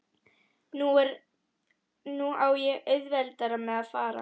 Nú á ég auðveldara með að fara.